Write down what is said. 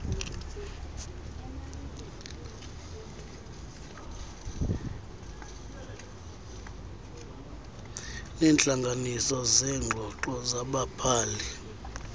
neentlanganiso zeengxoxo zababhali